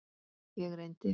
Ég reyndi.